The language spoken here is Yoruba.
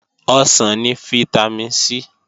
Ọsàn ni fítámìn C